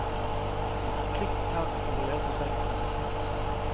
Klikk her for å lese teksten.